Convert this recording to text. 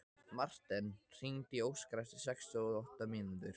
Marten, hringdu í Óskar eftir sextíu og átta mínútur.